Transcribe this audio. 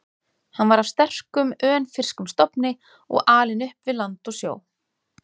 Hann var af sterkum, önfirskum stofni og alinn upp við land og sjó.